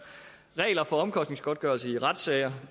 regler for omkostningsgodtgørelse i retssager